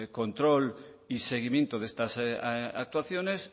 control y seguimiento de estas actuaciones